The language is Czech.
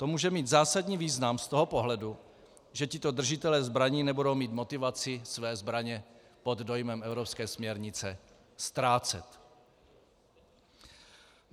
To může mít zásadní význam z toho pohledu, že tito držitelé zbraní nebudou mít motivaci své zbraně pod dojmem evropské směrnice ztrácet.